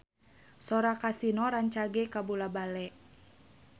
Sora Kasino rancage kabula-bale